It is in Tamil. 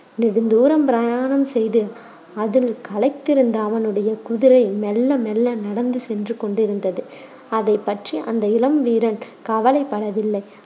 நெடுந்தூரம் பிரயாணம் செய்து அதில் களைத்திருந்த அவனுடைய குதிரை மெல்ல மெல்ல நடந்து சென்று கொண்டிருந்தது. அதைப் பற்றி அந்த இளம் வீரன் கவலைப்படவில்லை.